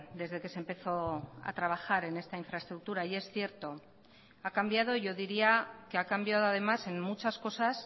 desde que se empezó a trabajar en esta infraestructura y es cierto ha cambiado yo diría que ha cambiado además en muchas cosas